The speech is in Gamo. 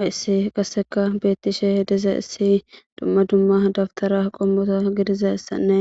Hayssi qasseka beettishe diza issi dumma dumma dabtara qommoto gidizayssanne